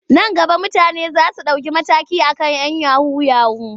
Nan gaba mutane za su ɗauki mataki a kan 'yan yahu-yahu.